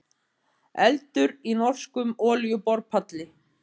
Eldur í norskum olíuborpalli